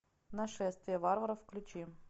нашествие варваров включи